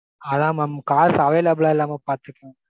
அதான் mam cars available லா இல்லாமா பாத்துக்கங்க.